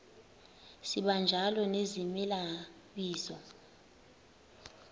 sibanjalo nezimela bizo